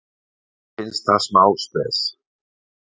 Mér finnst það smá spes.